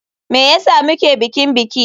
Me yasa muke bikin biki.